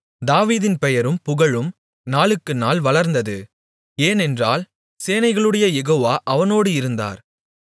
தாவீதின் பெயரும் புகழும் நாளுக்குநாள் வளர்ந்துவந்தது ஏனென்றால் சேனைகளுடைய யெகோவா அவனோடு இருந்தார்